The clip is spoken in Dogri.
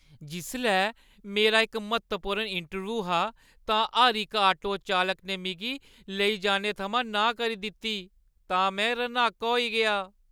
जिसलै मेरा इक म्हत्तवपूर्ण इंटरव्यू हा तां हर इक ऑटो चालक ने मिगी लेई जाने थमां नांह् करी दित्ती तां में रन्हाका होई गेआ।